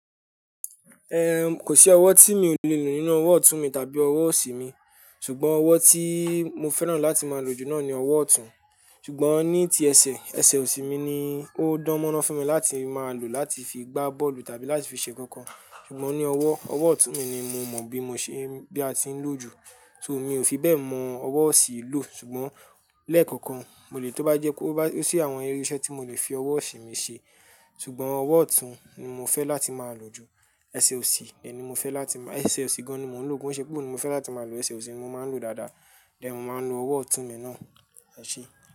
Eh, kò sí ọwọ́ tí mi ò le lò nínú ọwọ́ ọ̀tún mi tàbí ọwọ́ òsì mi, ṣùgbọ́n ọwọ́ tí mo fẹ́ràn láti máa lò jù náà ni ọwọ́ ọ̀tún. Ṣùgbọ́n ní ti ẹsẹ̀, ẹsẹ̀ òsì mi ni ó dán mo ran fun mi láti máa lò láti fi gbá bọ́ọ̀lù tàbí láti fi ṣe kankan. Ṣùgbọ́n ní ọwọ́, ọwọ́ ọ̀tún mi ni mo mọ bí mo ṣe, bí a ti ń lò ju, so mi ò fi bẹ́ẹ̀ mọ ọwọ́ òsì lò. Ṣùgbọ́n lẹ́ẹ̀kọ̀kan, mo lè tó bá jẹ́ kó bá, ó sí àwọn irú iṣẹ́ tí mo lè fi ọwọ́ òsì mi ṣe. Ṣùgbọ́n ọwọ́ ọ̀tún ni mo fẹ́ láti máa lò jù. Ẹsẹ̀ òsì, ẹ ni mo fẹ́ láti máa, ẹsẹ̀ òsì gan-an ni mò ń lò ko, ṣé pé òun ni mo fẹ́ láti máa lò ẹsẹ̀ òsì, mo máa ń lò ó dáadáa, tẹ mo máa ń lo ọwọ́ ọ̀tún mi náà, ẹ ṣé.